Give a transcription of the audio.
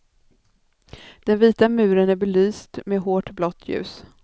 Den vita muren är belyst med hårt blått ljus.